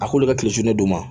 A k'olu bɛ kilen su ne ma